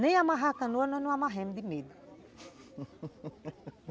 Nem amarrar a canoa, nós não amarramos de medo